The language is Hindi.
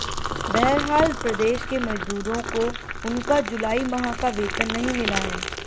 बहरहाल प्रदेश के मजदूरों को उनका जुलाई माह का वेतन नहीं मिला है